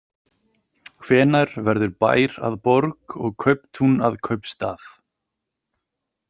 Hvenær verður bær að borg og kauptún að kaupstað?